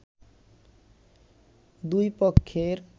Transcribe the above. দুই পক্ষের